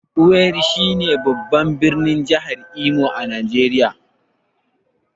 Owerri shine babban birnin jihar Imo a Najeriya.